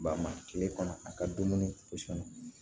Ba ma kile kɔnɔ a ka dumuni